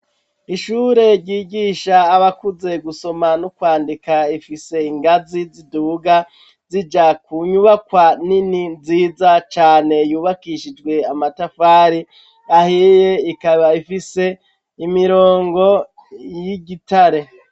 Ishure ryigisha abakuze gusoma n'ukwandika, ifise ingazi ziduga, zija ku nyubakwa nini, nziza cane, yubakishijwe amatafari ahiye, ikaba ifise imirongo y'igitare.